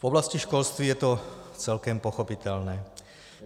V oblasti školství je to celkem pochopitelné.